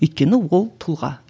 өйткені ол тұлға